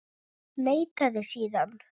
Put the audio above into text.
Neitaði síðan.